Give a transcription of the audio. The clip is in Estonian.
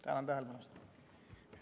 Tänan tähelepanu eest!